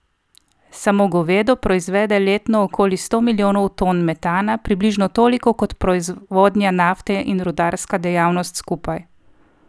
Samo govedo proizvede letno okoli sto milijonov ton metana, približno toliko kot proizvodnja nafte in rudarska dejavnost skupaj.